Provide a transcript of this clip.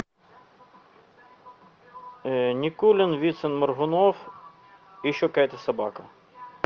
никулин вицин моргунов и еще какая то собака